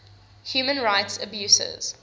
human rights abuses